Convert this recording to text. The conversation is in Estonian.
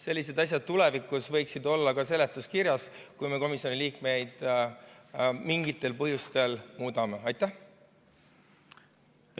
Sellised asjad tulevikus võiksid olla ka seletuskirjas, kui me mingitel põhjustel komisjoni liikmeid välja vahetame.